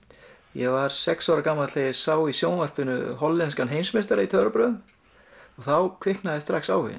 ég var sex ára gamall þegar ég sá í sjónvarpinu hollenskan heimsmeistara í töfrabrögðum og þá kviknaði strax áhuginn